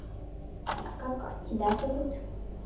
а как тебя зовут